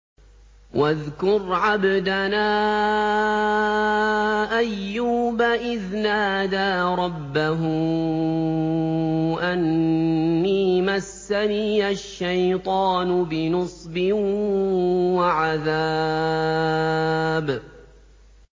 وَاذْكُرْ عَبْدَنَا أَيُّوبَ إِذْ نَادَىٰ رَبَّهُ أَنِّي مَسَّنِيَ الشَّيْطَانُ بِنُصْبٍ وَعَذَابٍ